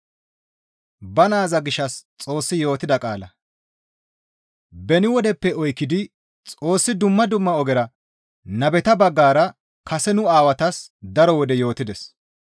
Beni wodeppe oykkidi Xoossi dumma dumma ogera nabeta baggara kase nu Aawatas daro wode yootides.